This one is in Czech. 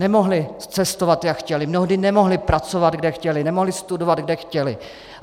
Nemohli cestovat, jak chtěli, mnohdy nemohli pracovat, kde chtěli, nemohli studovat, kde chtěli.